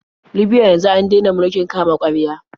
Libya yanzu an dena mulkin kama-karya.